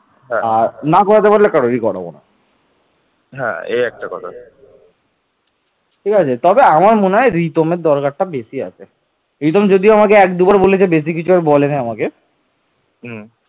বিন্ধ্যা পার্বত্য অঞ্চল বিজয় করে তিনি মালব ও গুজরাত দখল করেন